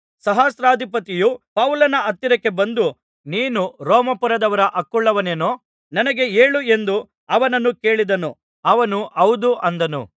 ಸಹಸ್ರಾಧಿಪತಿಯು ಪೌಲನ ಹತ್ತಿರಕ್ಕೆ ಬಂದು ನೀನು ರೋಮಾಪುರದವರ ಹಕ್ಕುಳ್ಳವನೇನು ನನಗೆ ಹೇಳು ಎಂದು ಅವನನ್ನು ಕೇಳಿದನು ಅವನು ಹೌದು ಅಂದನು